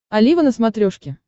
олива на смотрешке